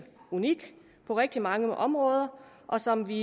unik på rigtig mange områder og som vi